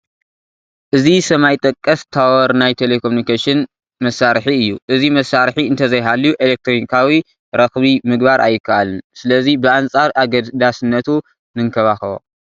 እዚ ሰማይ ጠቀስ ታወር ናይ ቴለ ኮሚኒኬሽን መሳርሒ እዩ፡፡ እዚ መሳርሒ እንተዘይሃልዩ ኤለክትሮኒካዊ ረኽቢ ምግባር ኣይከኣልን፡፡ ስለዚ ብኣንፃር ኣገዳስነቱ ንንከባኸቦ፡፡